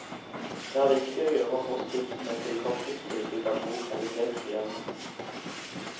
Det er viktig gjøre hospitsene til korttidstilbud av god kvalitet, sier han.